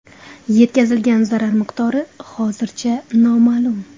Yetkazilgan zarar miqdori hozircha noma’lum.